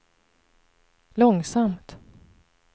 långsamt